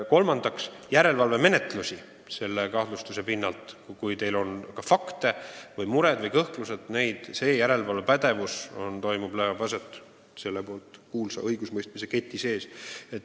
Mis puutub järelevalvesse nende kahtlustuste alusel, siis kui teil on mure või kõhklused, kas see toimub, siis kinnitan, et järelevalve leiab aset selle kuulsa õigusemõistmise keti sees.